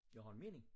Jeg har en mening